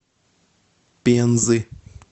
пензы